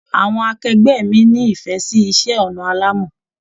Àwọn akẹgbẹ mí n'ifẹ sì iṣẹ ọnà alàmọ́.